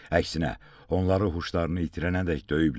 Əksinə, onları huşlarını itirənədək döyüblər.